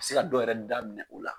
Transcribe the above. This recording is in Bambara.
se ka dɔ yɛrɛ da minɛ u la.